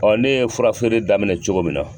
ne ye fura feere daminɛ cogo min na